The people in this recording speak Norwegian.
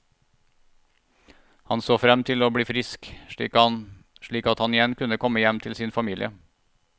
Han så frem til å bli frisk, slik at han igjen kunne komme hjem til sin familie.